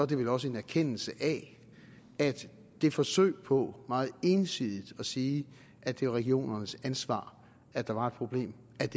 det vel også en erkendelse af at det forsøg på meget ensidigt at sige at det var regionernes ansvar at der var et problem